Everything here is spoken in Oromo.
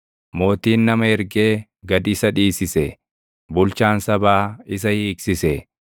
Mootiin nama ergee gad isa dhiisise; bulchaan sabaa isa hiiksise.